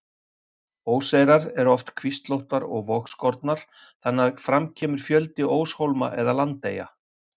Óseyrar eru oft kvíslóttar og vogskornar, þannig að fram kemur fjöldi óshólma eða landeyja.